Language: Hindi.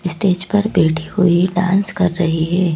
स्टेज पर बैठी हुई डांस कर रही है।